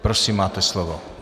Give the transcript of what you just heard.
Prosím, máte slovo.